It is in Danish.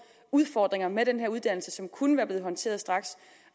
udfordringer med den her uddannelse som kunne have været håndteret straks